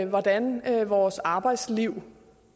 hvordan vores arbejdsliv